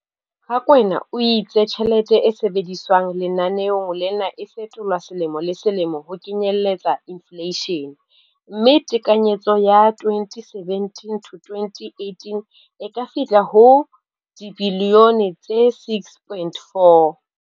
Rakwena o itse tjhelete e sebediswang lenaneong lena e fetolwa selemo le selemo ho kenyelletsa infleishene, mme tekanyetso ya 2017-18 e ka fihla ho R6.4 bilione.